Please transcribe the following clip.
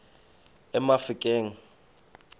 emafikeng